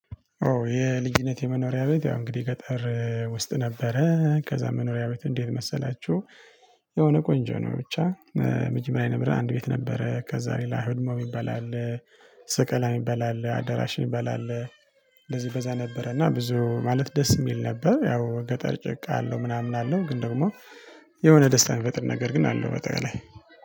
ኦ የልጅነት የመኖሪያ ቤት ያው እንግዲ ገጠር ውስጥ ነበረ ከዛ መኖሪያ ቤት እንዴት መሰላቹ? የሆነ ቆንጆ ነው ብቻ። መጀመሪያ የነበረ አንድ ቤት ነበረ ከዛ ሌላ ህድሞ ሚባል አለ። ሰቀላ ሚባል አለ አዳራሽ ሚባል አለ። እንደዚ በዛ ነበረ እና ብዙ ማለት ደስ ሚል ነበር። ያው ገጠር ጭቃ አለው ምናምን አለው ግን ደግሞ። የሆነ ደስታን ሚፈጥር ነገር ግን አለው ባጠቃላይ